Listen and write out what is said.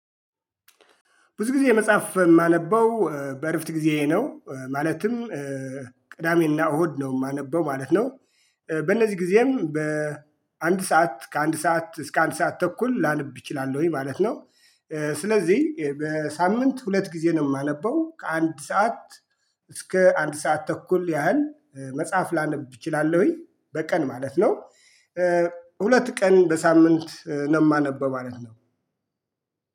ብዙ ጊዜ መጽሐፍ የማነበው በእርፍት ጊዜ ነው ማለትም ቅዳሜና እሁድ ነው የማነበው ማለት ነው። በእነዚህ ጊዜም በአንድ ሰዓት ከአንድ ሰዓት እስከ አንድ ሰዓት ተኩል ላነብ እችላለሁኝ ማለት ነው። ስለዚህ በሳምንት ሁለት ጊዜ ነው የማነበው ከአንድ ሰዓት እስከ አንድ ሰዓት ተኩል ያህል መጽሐፍ ላነብ እችላለሁኝ በቀን ማለት ነው። ሁለት ቀን በሳምንት ነው የማነበው ማለት ነው።